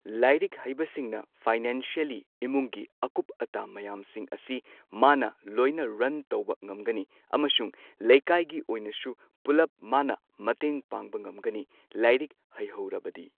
ꯂꯥꯏꯔꯤꯛ ꯍꯩꯕꯁꯤꯡꯅ ꯐꯥꯏꯅꯥꯟꯁꯤꯌꯦꯜꯂꯤ ꯏꯃꯨꯡꯒꯤ ꯑꯀꯨꯞ ꯑꯇꯥ ꯃꯌꯥꯝꯁꯤꯡ ꯑꯁꯤ ꯃꯥꯅ ꯂꯣꯏꯅ ꯔꯟ ꯇꯧꯕ ꯉꯝꯒꯅꯤ꯫ ꯑꯃꯁꯨꯡ ꯂꯩꯀꯥꯏꯒꯤ ꯑꯣꯢꯅꯁꯨ ꯄꯨꯜꯂꯞ ꯃꯥꯅ ꯃꯇꯦꯡ ꯄꯥꯡꯕ ꯉꯝꯒꯅꯤ ꯂꯥꯏꯔꯤꯛ ꯍꯩꯍꯧꯔꯕꯗꯤ꯫